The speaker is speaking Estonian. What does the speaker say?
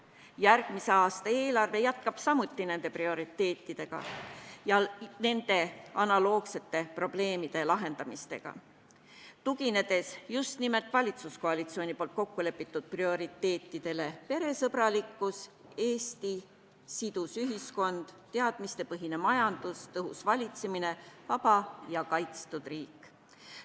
Järgmise aasta eelarve jätkab samuti nende prioriteetidega ja nende probleemide lahendamisega, tuginedes just valitsuskoalitsiooni kokku lepitud prioriteetidele: peresõbralikkus, Eesti sidus ühiskond, teadmistepõhine majandus, tõhus valitsemine, vaba ja kaitstud riik.